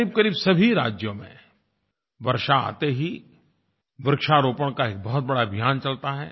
क़रीबक़रीब सभी राज्यों में वर्षा आते ही वृक्षारोपण का एक बहुत बड़ा अभियान चलता है